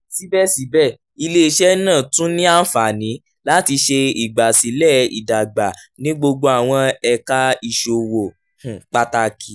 sibẹsibẹ ile-iṣẹ naa tun ni anfani lati ṣe igbasilẹ idagba ni gbogbo awọn ẹka iṣowo um pataki